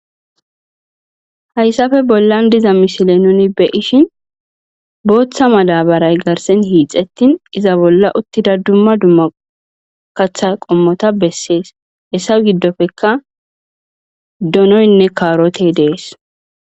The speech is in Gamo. Hayissappe bollanni diza missile nuni be'ishshinn boththa madabarayyi garssenn hixxettin iza bolla uttida dumma dumma kaththa qommota besses.hessa gidoppekka donoyinne kaaroteyi de'ees.